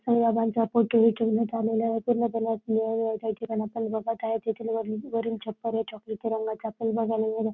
साई बाबांचा फोटो ही ठेवण्यात आलेला आहे पूर्णपणे अस निळनिळ त्या ठिकाणी आपण बघत आहे तेथील वरि वरिल छप्पर हे आपल्याला चॉकलेटी रंगाच आपल्याला बघायला मिळत आहे.